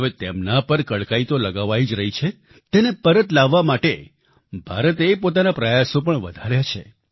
હવે તેમના પર કડકાઈ તો લગાવાઈ જ રહી છે તેને પરત લાવવા માટે ભારતે પોતાના પ્રયાસો પણ વધાર્યા છે